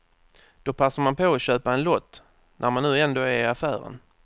Då passar man på att köpa en lott, när man nu ändå är i affären.